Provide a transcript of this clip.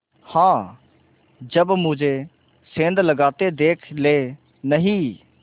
हाँ जब मुझे सेंध लगाते देख लेनहीं